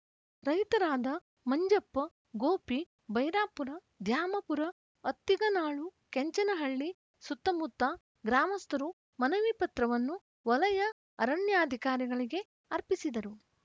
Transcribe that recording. ರೈತರಾದ ಮಂಜಪ್ಪ ಗೋಪಿ ಭೈರಾಪುರ ದ್ಯಾಮಪುರ ಅತ್ತಿಗನಾಳು ಕೆಂಚನಹಳ್ಳಿ ಸುತ್ತಮುತ್ತ ಗ್ರಾಮಸ್ಥರು ಮನವಿ ಪತ್ರವನ್ನು ವಲಯ ಅರಣ್ಯಾಧಿಕಾರಿಗಳಿಗೆ ಅರ್ಪಿಸಿದರು